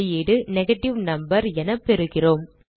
வெளியீடு negative number என பெறுகிறோம்